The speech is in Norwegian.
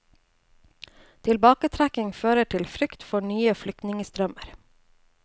Tilbaketrekkingen fører til frykt for nye flyktningstrømmer.